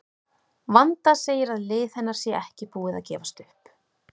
Vanda segir að lið hennar sé ekki búið að gefast upp.